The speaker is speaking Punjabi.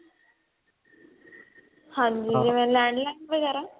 ਹਾਂਜੀ ਜਿਵੇਂ land line ਵਗੇਰਾ